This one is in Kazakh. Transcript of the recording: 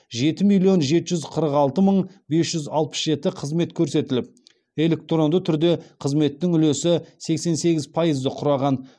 жеті миллион жеті жүз қырық алты мың бес жүз алпыс жеті қызмет көрсетіліп электронды түрде қызметтің үлесі сексен сегіз пайызды құраған